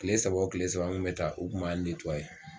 Kile saba o kile saba n bɛ taa u kun m'a